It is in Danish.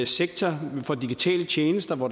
sektor for digitale tjenester hvor